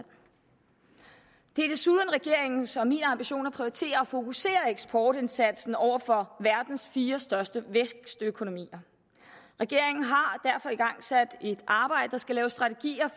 det er desuden regeringens og min ambition at prioritere og fokusere eksportindsatsen over for verdens fire største vækstøkonomier regeringen har derfor igangsat et arbejde der skal lave strategier